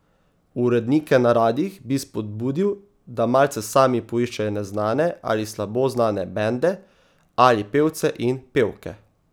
Urednike na radiih bi spodbudil, da malce sami poiščejo neznane ali slabo znane bende ali pevce in pevke.